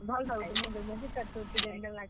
ଭଲ ଟା ଗୁଟେ ନେଇ ଦେମୁଁ ଯେ ।